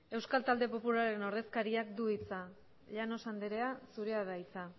euskal talde popularraren ordezkariak du hitza llanos andrea zurea da hitza